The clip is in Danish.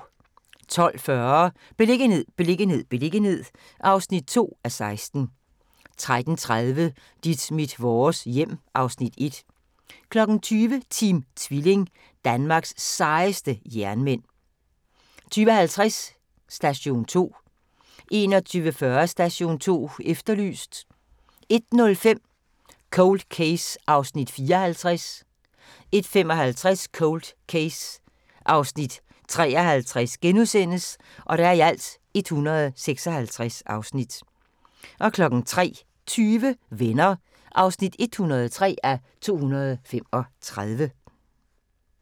12:40: Beliggenhed, beliggenhed, beliggenhed (2:16) 13:30: Dit mit vores hjem (Afs. 1) 20:00: Team Tvilling – Danmarks sejeste jernmænd 20:50: Station 2 21:40: Station 2 Efterlyst 01:05: Cold Case (54:156) 01:55: Cold Case (53:156)* 03:20: Venner (103:235)